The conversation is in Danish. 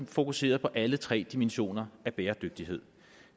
fokuseret på alle tre dimensioner af bæredygtighed